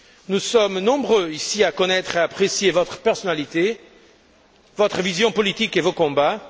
Nous sommes nombreux ici à connaître et à apprécier votre personnalité, votre vision politique et vos combats.